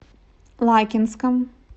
лакинском